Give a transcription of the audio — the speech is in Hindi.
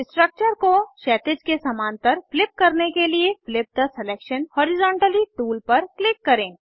स्ट्रक्चर को क्षैतिज के समान्तर फ्लिप करने के लिए flip the selection horizontally tool पर क्लिक करें